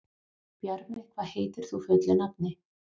Bjarmi, hvað heitir þú fullu nafni?